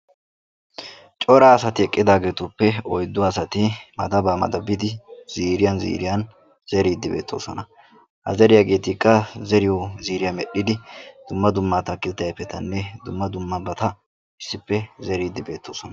Cora asati eqqidaageetuppe oyddu asati maddaba maddabidi ziiriyaan ziiriyaan zeriddi beettoosona. Ha zeriyaagetikka zeriyo ziiriya medhdhidi dumma dumma atakiltte ayfetanne dumma dummabata issippe zeride beettoosona.